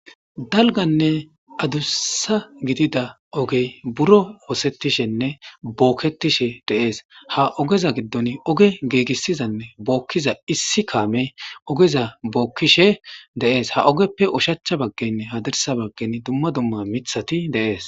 Daligane adussa gidida oge biro osetishene boketishe des ha ogeza giddon oge gigisizane bookiza issi kamey ogeza bokishe de'es ha ogepe ushacha baggene hardissa bagen duma duma miththat de'es.